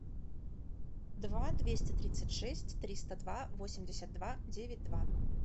два двести тридцать шесть триста два восемьдесят два девять два